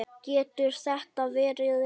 Getur þetta verið rétt?